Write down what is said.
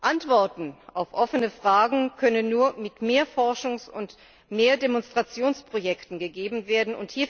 Antworten auf offene Fragen können nur mit mehr Forschungs und mehr Demonstrationsprojekten gegeben werden.